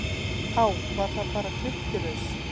Á, var það bara drykkjuraus?